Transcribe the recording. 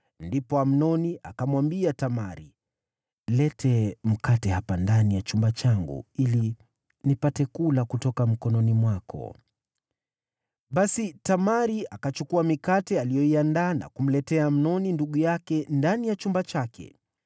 Ndipo Amnoni akamwambia Tamari, “Leta mkate hapa ndani ya chumba changu ili nipate kula kutoka mkononi mwako.” Basi Tamari akachukua mikate aliyoiandaa na kumletea Amnoni ndugu yake ndani ya chumba chake.